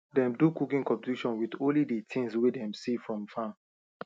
dem do cooking competition with only the things way them see from farm